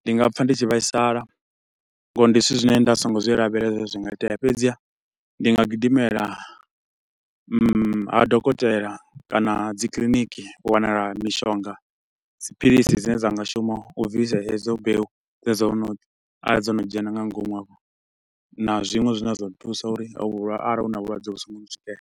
ndi nga pfa ndi tshi vhaisala nga uri ndi zwithu zwine nda so ngo zwi lavhelela zwi nga itea. Fhedziha ndi nga gidimela ha dokotela kana dzi kiliniki u wanala mishonga, dziphilisi dzine dza nga shuma u bvisa hedzo mbeu dzine dza wo no, arali dzo no dzhena nga ngomu afho. Na zwiṅwe zwine zwa do thusa uri arali hu na vhulwadze vhu so ngo zwi ntswikela.